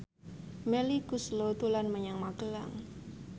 Melly Goeslaw dolan menyang Magelang